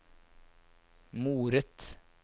moret